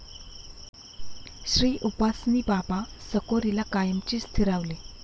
श्रीउपासनी बाबा साकोरीला कायमचे स्थिरावले.